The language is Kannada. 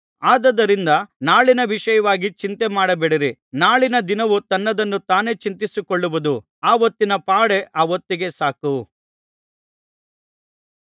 ಆದುದರಿಂದ ನಾಳಿನ ವಿಷಯವಾಗಿ ಚಿಂತೆ ಮಾಡಬೇಡಿರಿ ನಾಳಿನ ದಿನವು ತನ್ನದನ್ನು ತಾನೇ ಚಿಂತಿಸಿಕೊಳ್ಳುವುದು ಆ ಹೊತ್ತಿನ ಪಾಡೇ ಆ ಹೊತ್ತಿಗೆ ಸಾಕು